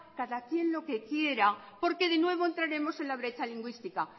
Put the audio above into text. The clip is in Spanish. cada quien lo que quiera porque de nuevo entraremos en la brecha lingüística